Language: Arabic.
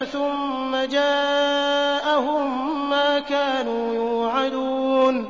ثُمَّ جَاءَهُم مَّا كَانُوا يُوعَدُونَ